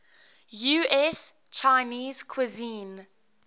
us chinese cuisine